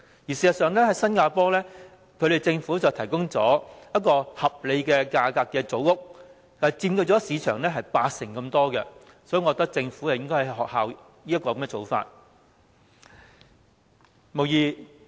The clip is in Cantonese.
事實上，新加坡政府提供了合理價格的組屋，佔市場八成之多，我覺得政府應仿效這種做法。